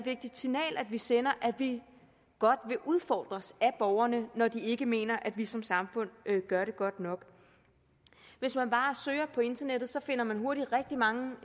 vigtigt signal vi sender at vi godt vil udfordres af borgerne når de ikke mener at vi som samfund gør det godt nok hvis man bare søger på internettet finder man hurtigt rigtig mange